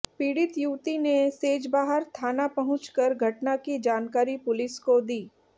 पीडि़त युवती ने सेजबहार थाना पहुंचकर घटना की जानकारी पुलिस को दी